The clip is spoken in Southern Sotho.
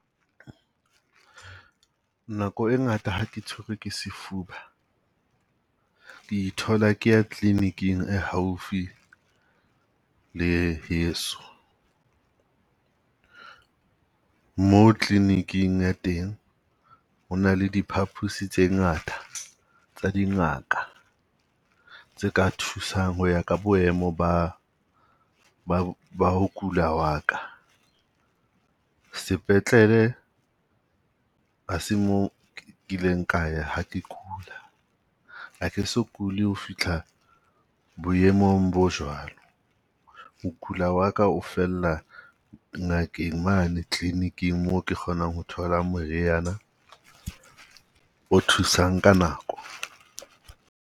Nako e ngata ha ke tshwerwe ke sefuba, ke ithola ke ya clinic-ing e haufi le heso. Mo clinic-ing ya teng hona le diphapusi tse ngata tsa dingaka, tse ka thusang ho ya ka boemo ba ba ba ho kula wa ka. Sepetlele ha se mo kileng ka ya ha ke kula, a ke so kuli ho fihla boemong bo jwalo. Ho kula wa ka ho fella ngakeng mane clinic-ing mo ke kgonang ho thola moriana o thusang ka nako.